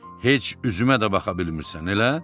Heç üzümə də baxa bilmirsən, elə?